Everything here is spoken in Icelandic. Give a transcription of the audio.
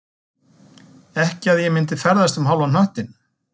Ekki að ég myndi ferðast um hálfan hnöttinn